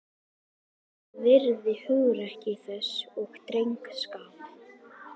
Ég virði hugrekki þess og drengskap.